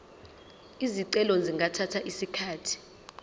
izicelo zingathatha isikhathi